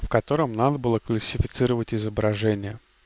в котором надо было классифицировать изображение